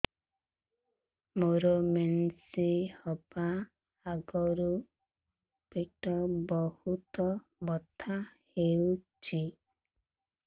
ମୋର ମେନ୍ସେସ ହବା ଆଗରୁ ପେଟ ବହୁତ ବଥା ହଉଚି